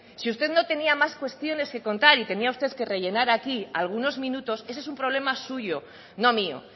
si usted no tenía más cuestiones que contar y tenía usted que rellenar aquí algunos minutos ese es un problema suyo no mío